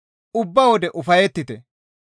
Ubba wode ufayettite.